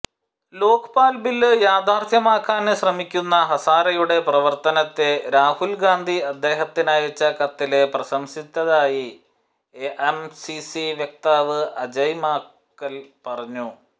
Lokpal bill യാഥാര്ഥ്യമാക്കാന് ശ്രമിക്കുന്ന ഹസാരെയുടെ പ്രവര്ത്തനത്തെ രാഹുല്ഗാന്ധി അദ്ദേഹത്തിനയച്ച കത്തില് പ്രശംസിച്ചതായി എഐസിസി വക്താവ് അജയ് മാക്കല് പറഞ്ഞു